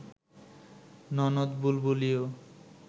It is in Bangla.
ননদ বুলবুলিও